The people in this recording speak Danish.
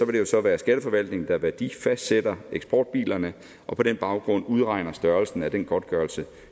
det så være skatteforvaltningen der værdifastsætter eksportbilerne og på den baggrund udregner størrelsen af den godtgørelse